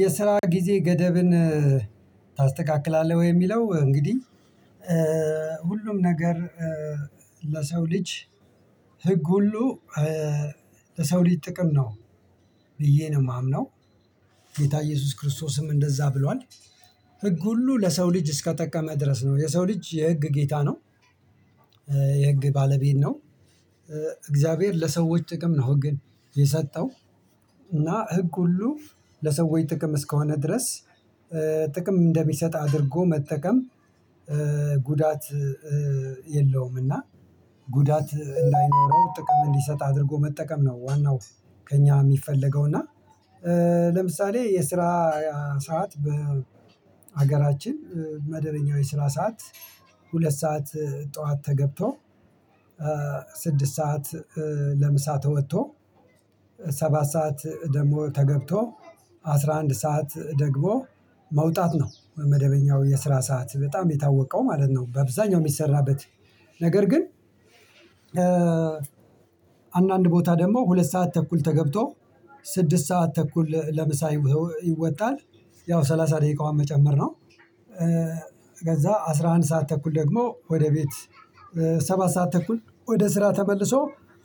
የስራ ጊዜ ገደብን ታስተካክላለህ ወይ? የሚለው እንግዲህ ሁሉም ነገር ለሰው ልጅ ህግ ሁሉ ለሰው ልጅ ጥቅም ነው ይሄንን የማምነው ጌታ ኢየሱስ ክርስቶስም እንደዛ ብሏል ህግ ሁሉ ለሰው ልጅ እስከተጠቀመ ድረስ ነው የሰው ልጅ የህግ ጌታ ነው። የህግ ባለቤት ነው። እግዚአብሔር ለሰዎች ጥቅም ነው ህግን የሰጠው እና ህግ ሁሉ ለሰዎች ጥቅም እስከሆነ ድረስ ጥቅም እንደሚሰጥ አድርጎ መጠቀም ጉዳት የለውም እና ጉዳት እንዳይኖረው ጥቅም እንዲሰጥ አድርጎ መጠቀም ነው። ዋናው ከእኛ የሚፈለገው እና ለምሳሌ የስራ ሰዓት በሀገራችን መደበኛ የስራ ሰዓት ሁለት ሰዓት ጠዋት ተገብቶ ስድስት ሰዓት ለምሳ ተወጥቶ ሰባት ሰዓት ደግሞ ተገብቶ አስራ አንድ ሰዓት ደግሞ መውጣት ነው መደበኛው የስራ ሰዓት በጣም የታወቀው ማለት ነው። በአብዛኛው የሚሰራበት ነገር ግን አንዳንድ ቦታ ደግሞ ሁለት ሰዓት ተኩል ተገብቶ ስድስት ሰዓት ተኩል ለምሳ ይወጣል ያው ሰላሳ ደቂቃውን መጨመር ነው። አስራ አንድ ሰዓት ተኩል ደግሞ ወደ ቤት ሰባት ሰዓት ተኩል ወደ ስራ ተመልሶ